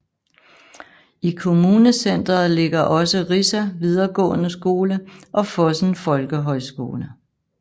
I kommunecenteret ligger også Rissa videregående skole og Fosen folkehøjskole